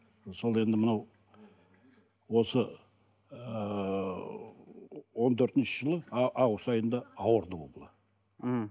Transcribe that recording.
сонда енді мынау осы ыыы он төртінші жылы август айында ауырды ол бала м